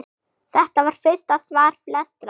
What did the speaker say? Þetta var fyrsta svar flestra?